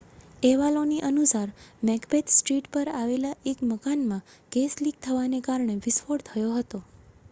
અહેવાલોની અનુસાર Macbeth street પર આવેલા એક મકાનમાં ગેસ લિક થવાને કારણે વિસ્ફોટ થયો હતો